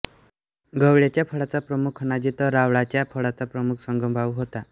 गवळ्याच्या फडाचा प्रमुख होनाजी तर रावळाच्या फडाचा प्रमुख सगनभाऊ होता